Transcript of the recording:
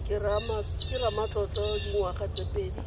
ke ramatlotlo dingwaga tse pedi